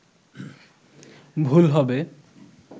ভুল হবে